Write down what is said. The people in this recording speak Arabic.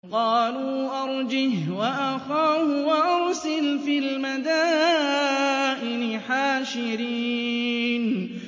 قَالُوا أَرْجِهْ وَأَخَاهُ وَأَرْسِلْ فِي الْمَدَائِنِ حَاشِرِينَ